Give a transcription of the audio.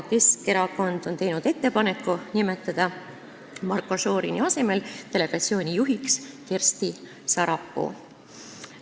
Keskerakond on teinud ettepaneku nimetada Marko Šorini asemel delegatsiooni juhiks Kersti Sarapuu.